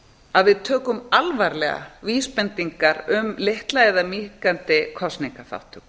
að við tökum alvarlega vísbendingar um litla eða minnkandi kosningaþátttöku